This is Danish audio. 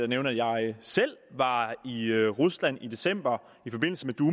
nævne at jeg selv var i rusland i december i forbindelse